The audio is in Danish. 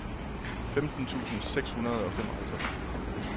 femten tusind seks hundrede og femoghalvtreds